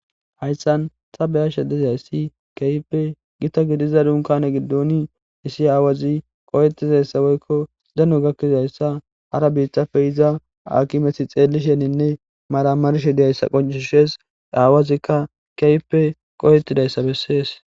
Hayssan ta beya shedezayssi keype gita gidiza dunkane giddoni issi aawazi qoyettizayssa woykko dano gakkizayssa hara biitafe iza akimeti xeellisheninne maramarshe diyayssa qonchushees aawazikka keype qoyetidayssa bessees.